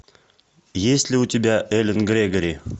есть ли у тебя элен грегори